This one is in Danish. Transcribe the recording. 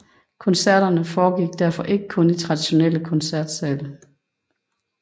Koncerterne foregik derfor ikke kun i traditionelle koncertsale